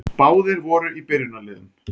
Báðir voru í byrjunarliðum.